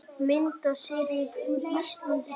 Myndasería úr ÍSLAND- Þýskaland